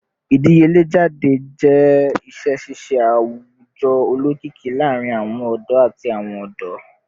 Idiyele jade jẹ iṣẹ ṣiṣe awujọ olokiki laarin awọn ọdọ ati awọn ọdọ